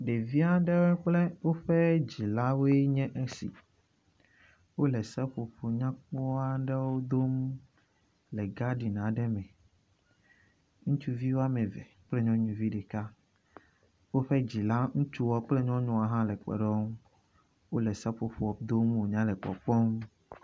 Ɖevi aɖr kple woƒe dzilawoe nye esi. Wo le seƒoƒo nyakpɔ aɖewo dom le gadina aɖe me. Ŋutsuvi wɔme eve kple nyɔnuvi ɖeka. Woƒe dzila utsua kple nyɔnua hã kpe ɖe wo ŋu wo le seƒoƒoa dom wonya le kpɔkpɔm.